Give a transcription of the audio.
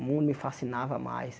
O mundo me fascinava mais.